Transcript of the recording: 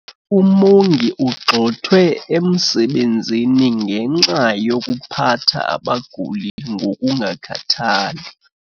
Umongi ugxothwe emsebenzini ngenxa yokuphatha abaguli ngokungakhathali.